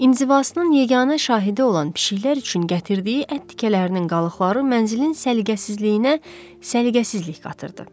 İnzivasının yeganə şahidi olan pişiklər üçün gətirdiyi ət tikələrinin qalıqları mənzilin səliqəsizliyinə, səliqəsizlik qatırdı.